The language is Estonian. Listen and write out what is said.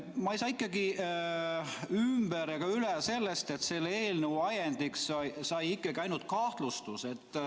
Ma ei saa ikkagi ümber ega üle sellest, et selle eelnõu ajendiks sai ikkagi ainult kahtlustus.